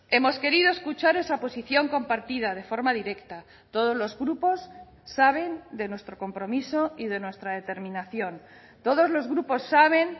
hemos querido escuchar esa posición compartida de forma directa todos los grupos saben de nuestro compromiso y de nuestra determinación todos los grupos saben